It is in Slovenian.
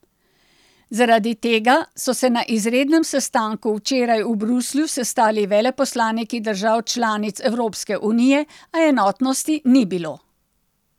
Zaradi tega so se na izrednem sestanku včeraj v Bruslju sestali veleposlaniki držav članic Evropske unije, a enotnosti ni bilo.